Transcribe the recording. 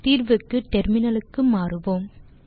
தீர்வுக்கு டெர்மினலுக்கு மாறுவோம்